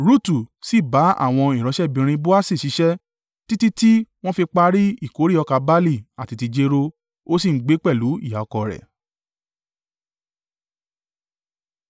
Rutu sì bá àwọn ìránṣẹ́bìnrin Boasi ṣiṣẹ́ títí tí wọ́n fi parí ìkórè ọkà barle àti ti jéró. Ó sì ń gbé pẹ̀lú ìyá ọkọ rẹ̀.